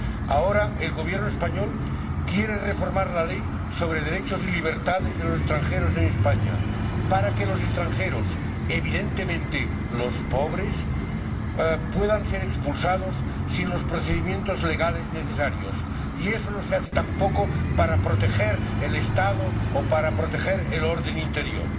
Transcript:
Ahora, el Gobierno español quiere reformar la Ley sobre derechos y libertades de los extranjeros en España para que los extranjeros —evidentemente los pobres— puedan ser expulsados sin los procedimientos legales necesarios, y eso no se hace tampoco para proteger el Estado o para proteger el orden interior.